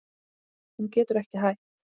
Hún getur ekki hætt.